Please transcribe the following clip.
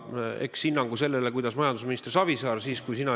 Hinnangu majandusminister Savisaarele saad anda sina.